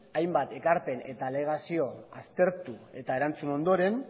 hainbat ekarpen eta alegazio aztertu eta erantzun ondoren